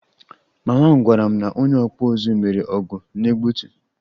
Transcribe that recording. Mama m gwara m na onye okpu uzu mere ọgụ na egbutu